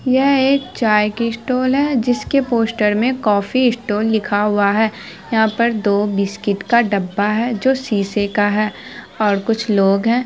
यह एक चाय का स्टॉल है जसी के पोस्टर मैं कॉफी स्टॉल लिखा हुआ है यहा पर दो बिस्किट का दो डब्बा है जो शीशे का है और कुछ लोग है।